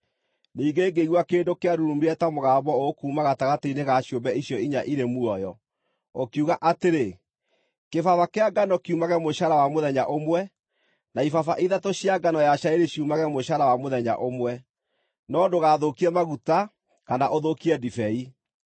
Ningĩ ngĩigua kĩndũ kĩarurumire ta mũgambo ũkuuma gatagatĩ-inĩ ga ciũmbe icio inya irĩ muoyo, ũkiuga atĩrĩ, “Kĩbaba kĩa ngano kiumage mũcaara wa mũthenya ũmwe, na ibaba ithatũ cia ngano ya cairi ciumage mũcara wa mũthenya ũmwe, no ndũgathũkie maguta kana ũthũkie ndibei!”